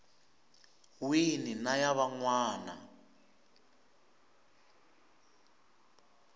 wini na ya van wana